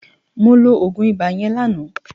Mó ló ógún ibá yèn láná